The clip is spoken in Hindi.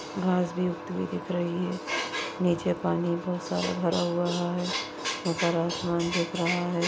घास भी उगती हुई दिख रही हैं नीचे पानी बहुत सारा भरा हुआ हैं ऊपर आसमान दिख रहा हैं।